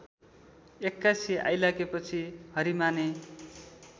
एक्कासि आइलागेपछि हरिमाने